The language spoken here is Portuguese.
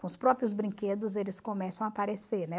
Com os próprios brinquedos, eles começam a aparecer, né?